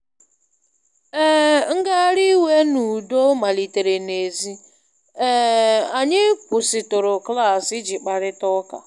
um Ngagharị iwe n’udo malitere n’èzí, um anyị kwụsịtụrụ klaasị iji kparịta ya.